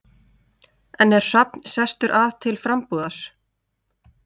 En er Hrafn sestur að til frambúðar?